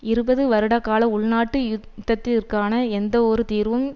இருபது வருடகால உள்நாட்டு யுத்தத்திற்கான எந்தவொரு தீர்வும்